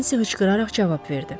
Nensi hıçqıraraq cavab verdi.